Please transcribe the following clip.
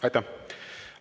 Aitäh!